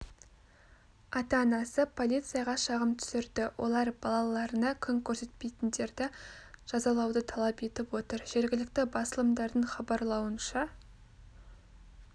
ата-анасы полицияға шағым түсірді олар балаларына күн көрсетпейтіндерді жазалауды талап етіп отыр жергілікті басылымдардың хабарлауынша